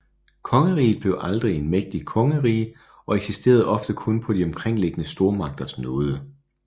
Kongeriget blev aldrig en mægtig kongerige og eksisterede ofte kun på de omkringliggende stormagters nåde